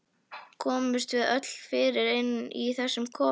Komumst við öll fyrir inni í þessum kofa?